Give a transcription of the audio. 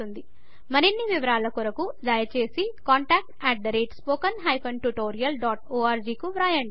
మరిన్ని వివరాల కొరకు దయచేసి contactspoken tutorialorg కు వ్రాయండి